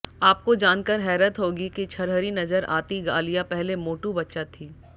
आपको जानकर हैरत होगी कि छरहरी नजर आती आलिया पहले मोटू बच्चा थी